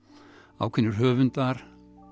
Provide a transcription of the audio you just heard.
ákveðnir höfundar